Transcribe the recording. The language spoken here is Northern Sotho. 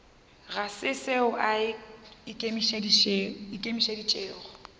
ga se seo a ikemišeditšego